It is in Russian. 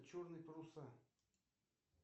черные паруса